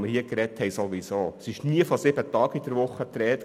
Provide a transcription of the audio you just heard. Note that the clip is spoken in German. Wir haben nie von sieben Tagen in der Woche gesprochen.